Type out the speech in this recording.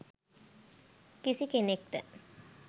කිසි කෙනෙක්ට